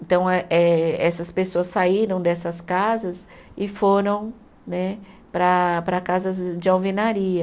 Então, eh eh essas pessoas saíram dessas casas e foram né, para para casas de alvenaria.